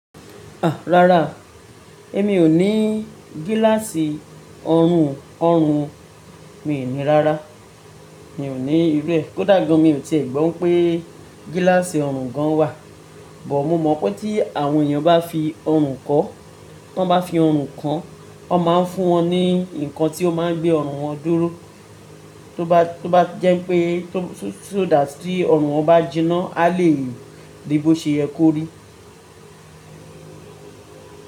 Àá, rárá, èmi ò ní gíláàsì ọrùn ọ̀hún, mi ò ní rárá. Mi ò ní irú ẹ. Kódà gan, mi ò tẹ̀ẹ́ gbọ́ pé gíláàsì ọrùn gan wà. Bọ̀, mo mọ̀ pé tí àwọn èèyàn bá fi ọrùn kọ́, tí wọ́n bá fi ọrùn kàn, wọ́n máa ń fún wọn ní nǹkan tí ó máa gbé ọrùn wọn dúró, tó bá jẹ́ pé só that tí ọrùn wọn bá jiná, a lè ríi bí ó ṣe ye korí.